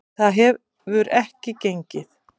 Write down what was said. Það hefur ekki gengið.